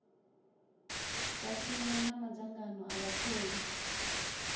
vhashumi na madzangano a vhatholi